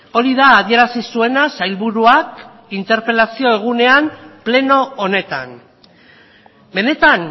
hori da adierazi zuena sailburuak interpelazio egunean pleno honetan benetan